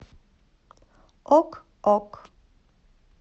ок ок